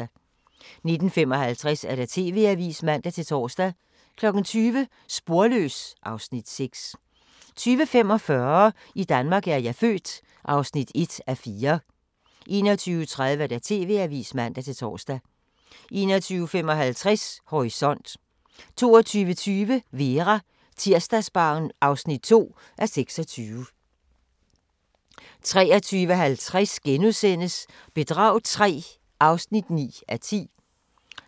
19:55: TV-avisen (man-tor) 20:00: Sporløs (Afs. 6) 20:45: I Danmark er jeg født (1:4) 21:30: TV-avisen (man-tor) 21:55: Horisont 22:20: Vera: Tirsdagsbarn (2:26) 23:50: Bedrag III (9:10)*